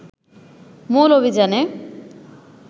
মূল অভিযানে